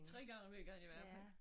3 gange om ugen i hvert fald